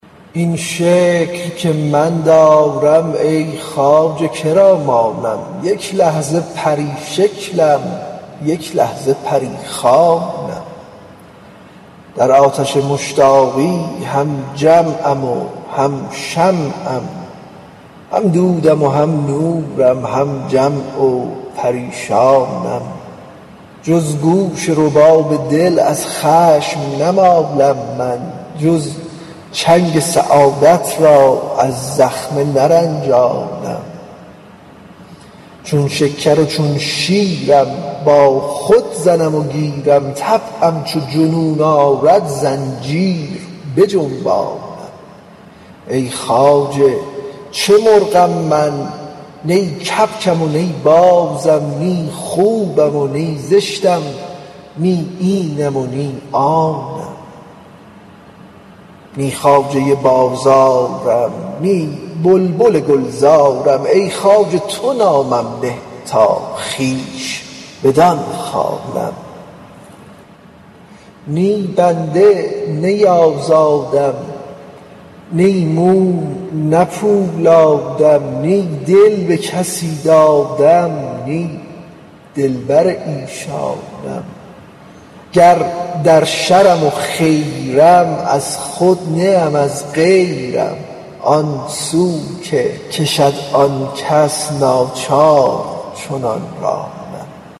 این شکل که من دارم ای خواجه که را مانم یک لحظه پری شکلم یک لحظه پری خوانم در آتش مشتاقی هم جمعم و هم شمعم هم دودم و هم نورم هم جمع و پریشانم جز گوش رباب دل از خشم نمالم من جز چنگ سعادت را از زخمه نرنجانم چون شکر و چون شیرم با خود زنم و گیرم طبعم چو جنون آرد زنجیر بجنبانم ای خواجه چه مرغم من نی کبکم و نی بازم نی خوبم و نی زشتم نی اینم و نی آنم نی خواجه بازارم نی بلبل گلزارم ای خواجه تو نامم نه تا خویش بدان خوانم نی بنده نی آزادم نی موم نه پولادم نی دل به کسی دادم نی دلبر ایشانم گر در شرم و خیرم از خود نه ام از غیرم آن سو که کشد آن کس ناچار چنان رانم